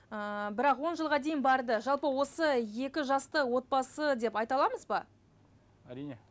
ыыы бірақ он жылға дейін барды жалпы осы екі жасты отбасы деп айта аламыз ба әрине